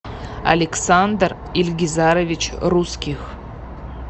александр ильгизарович русских